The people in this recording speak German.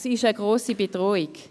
Sie ist eine grosse Bedrohung.